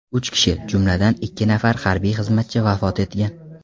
Uch kishi, jumladan, ikki nafar harbiy xizmatchi vafot etgan.